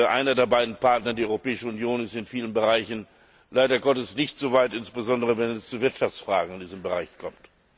Einer der beiden Partner die Europäische Union ist in vielen Bereichen leider Gottes nicht so weit, insbesondere wenn es zu Wirtschaftsfragen in diesem Bereich kommt.